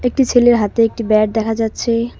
একটি ছেলের হাতে একটি ব্যাট দেখা যাচ্ছে।